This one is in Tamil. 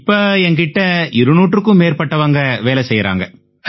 இப்ப என் கிட்ட 200க்கும் மேற்பட்டவங்க வேலை செய்யறாங்க